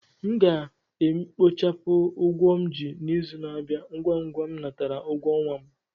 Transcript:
A ga m e kpochapụ ụgwọ m ji n'izù n'abia ngwa ngwa m natara ụgwọ ọnwa m